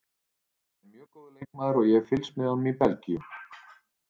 Hann er mjög góður leikmaður og ég hef fylgst með honum í Belgíu.